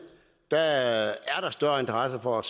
der er større interesse for